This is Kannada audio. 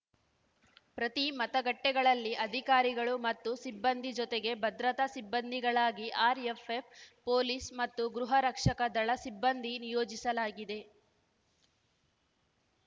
ಪ್ರತಿ ಮತಗಟ್ಟೆಗಳಲ್ಲಿ ಅಧಿಕಾರಿಗಳು ಮತ್ತು ಸಿಬ್ಬಂದಿ ಜೊತೆಗೆ ಭದ್ರತಾ ಸಿಬ್ಬಂದಿಗಳಾಗಿ ಆರ್‌ಎಫ್ಎಫ್‌ ಪೊಲೀಸ್‌ ಮತ್ತು ಗೃಹರಕ್ಷಕ ದಳ ಸಿಬ್ಬಂದಿ ನಿಯೋಜಿಸಲಾಗಿದೆ